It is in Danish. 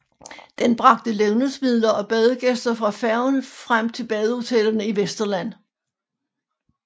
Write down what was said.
Den bragte levnedsmidler og badegæster fra færgen frem til badehotellerne i Vesterland